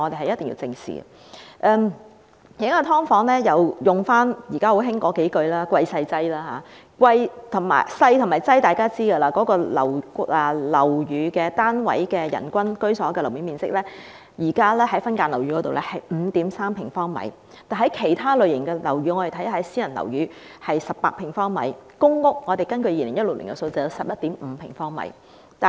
現時分間樓宇單位的人均居所樓面面積是 5.3 平方米，但其他類型樓宇的數字，例如私人樓宇，是18平方米。分間樓宇單位的卻只是 5.3 平方米。